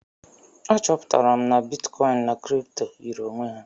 A chọpụtara m na bitkọin na kripto yiri onwe ha.